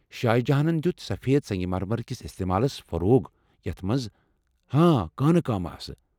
شاہ جہانن دِیٚت سفید سنٛگہ مرمر کِس استعمالس فروغ یتھ منٛز ہاں کٕنہٕ کٲم ٲسہٕ ۔